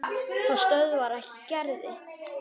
Það stöðvar ekki Gerði.